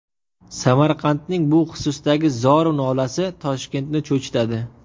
Samarqandning bu xususdagi zor-u nolasi Toshkentni cho‘chitadi.